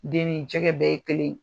Den ni jɛgɛ bɛ ye kelen ye!